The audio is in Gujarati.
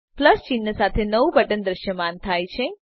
પ્લસ ચિન્હ સાથે નવું બટન દ્રશ્યમાન થાય છે